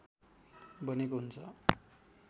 बनेको हुन्छ